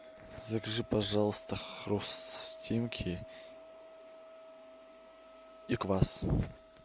закажи пожалуйста хрустимки и квас